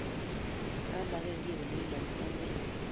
Mamagekiy ole ilaitaigei